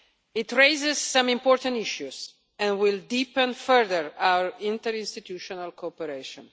It raises some important issues and will deepen further our interinstitutional cooperation.